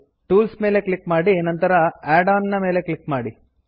tools ಮೇಲೆ click ಮಾಡಿ ನಂತರ ಆಡ್ಆನ್ ನ ಮೇಲೆ ಕ್ಲಿಕ್ ಮಾಡಿ